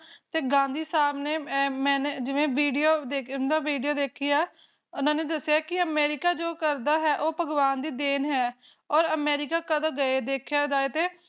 ਹਨ ਜੀ ਜਿਵੇਂ ਗਾਂਧੀ ਸਾਹਬ ਨੇ ਜੋ video ਦੇਖੀ ਹੈ ਨਾ ਓਰ ਉਨ੍ਹਾਂ ਨੇ ਦੱਸਿਆ ਹੈ ਕ ਅਮਰੀਕਾ ਜੋ ਕਰਦਾ ਹੈ ਭਗਵਾਨ ਦੀ ਦੇਣ ਹੈ ਨਾ ਹਨ ਜੀ ਓਰ ਅਮਰੀਕਾ ਕਾ ਭੀ ਦਕੇਹ ਜਾਇ ਤੇ